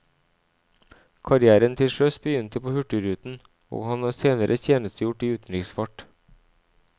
Karrièren til sjøs begynte på hurtigruten, og han har senere tjenestegjort i utenriksfart.